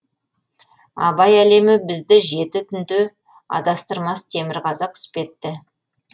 абай әлемі бізді жеті түнде адастырмас темірқазық іспетті